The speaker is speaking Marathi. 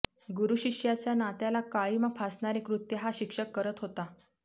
गुरू शिष्याच्या नात्याला काळीमा फासणारे कृत्य हा शिक्षक करत होता